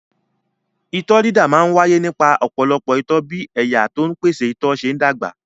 Itọ́ dídà máa ń wáyé nípa ọ̀pọ̀lọpọ̀ itọ́ bí ẹ̀yà tó ń pèsè itọ́ ṣe ń dàgbà.